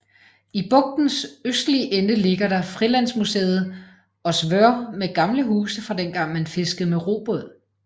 I bugtens østlige ende ligger der frilandsmuseet Ósvör med gamle huse fra dengang man fiskede med robåd